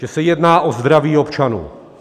Že se jedná o zdraví občanů.